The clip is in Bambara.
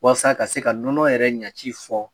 Waasa ka se ka nɔnɔ yɛrɛ ɲɛci fɔ.